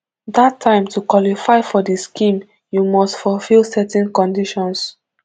dat time to qualify for di scheme you must fulfil certain conditions